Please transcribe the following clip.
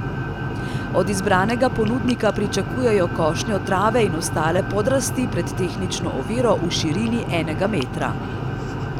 Od izbranega ponudnika pričakujejo košnjo trave in ostale podrasti pred tehnično oviro v širini enega metra.